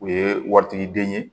U ye wari tigiden ye